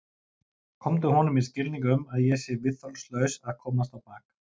Komdu honum í skilning um að ég sé viðþolslaus að komast á bak.